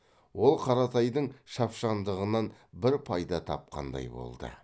ол қаратайдың шапшаңдығынан бір пайда тапқандай болды